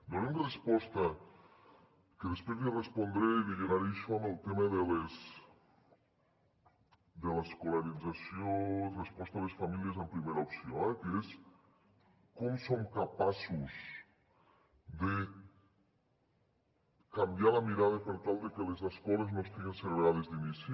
donem resposta que després li respondré i li lligaré això amb el tema de l’escolarització a les famílies en primera opció eh que és com som capaços de canviar la mirada per tal de que les escoles no estiguen segregades d’inici